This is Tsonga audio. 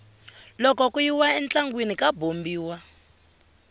loko ku yiwa entlangwini ka bombiwa